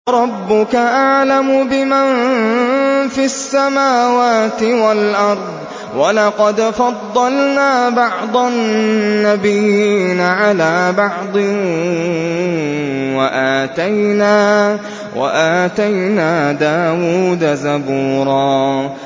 وَرَبُّكَ أَعْلَمُ بِمَن فِي السَّمَاوَاتِ وَالْأَرْضِ ۗ وَلَقَدْ فَضَّلْنَا بَعْضَ النَّبِيِّينَ عَلَىٰ بَعْضٍ ۖ وَآتَيْنَا دَاوُودَ زَبُورًا